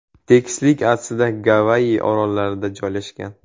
Tekislik aslida Gavayi orollarida joylashgan.